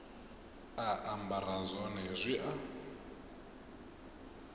a ambara zwone zwi a